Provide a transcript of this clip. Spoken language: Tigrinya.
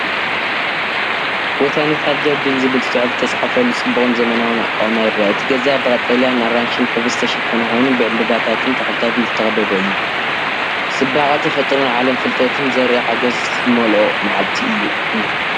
“ቦታኒካል ጀርዲን” ዝብል ጽሑፍ ዝተጻሕፈሉ ጽቡቕን ዘመናውን ኣቃውማ ይርአ። እቲ ገዛ ብቀጠልያን ኣራንሺን ሕብሪ ዝተሸፈነ ኮይኑ፡ ብዕምባባታትን ተኽልታትን ዝተኸበበ እዩ። ጽባቐ ተፈጥሮን ዓለም ፍልጠትን ዘርኢ ሓጎስ ዝመልኦ መዓልቲ እዩ።